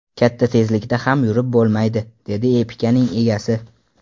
Katta tezlikda ham yurib bo‘lmaydi”, dedi Epica’ning egasi.